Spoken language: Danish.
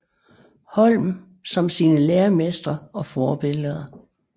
Holm som sine læremestre og forbilleder